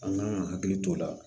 An kan ka hakili t'o la